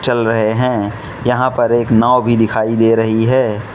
चल रहे हैं यहां पर एक नाव भी दिखाई दे रही है।